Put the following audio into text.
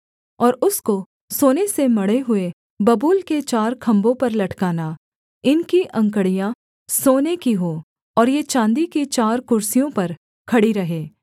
और उसको सोने से मढ़े हुए बबूल के चार खम्भों पर लटकाना इनकी अंकड़ियाँ सोने की हों और ये चाँदी की चार कुर्सियों पर खड़ी रहें